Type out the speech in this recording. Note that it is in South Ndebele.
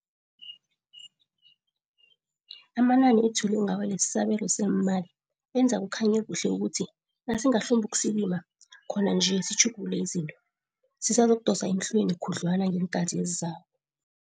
Amanani ethule ngawo lesisabelo seemali enza kukhanye kuhle ukuthi nasingahlumbukusikima khona nje sitjhugulule izinto, sisazokudosa emhlweni khudlwana ngeenkhathi ezizako.